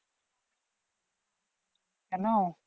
কেনো?